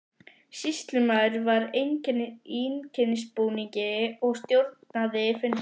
Sýslumaður var í einkennisbúningi og stjórnaði fundi.